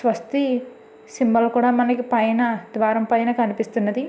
స్వస్తి సింబల్ కూడా మనకు పైన ద్వారం పైన కనిపిస్తున్నది.